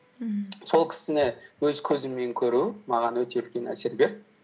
мхм сол кісіні өз көзіммен көру маған өте үлкен әсер берді